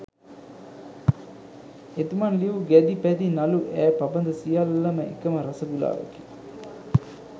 එතුමන් ලියූ ගැදි පැදි නළු ඈ පබඳ සියල්ලම එකම රස ගුලාවකි